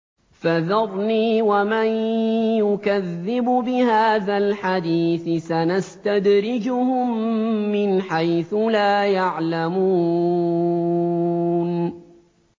فَذَرْنِي وَمَن يُكَذِّبُ بِهَٰذَا الْحَدِيثِ ۖ سَنَسْتَدْرِجُهُم مِّنْ حَيْثُ لَا يَعْلَمُونَ